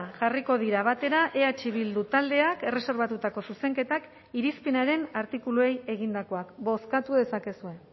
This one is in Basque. jarriko dira batera eh bildu taldeak erreserbatutako zuzenketak irizpenaren artikuluei egindakoak bozkatu dezakezue